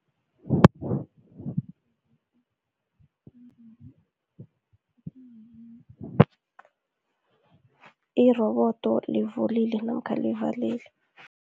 Irobodo livulile namkha livalile.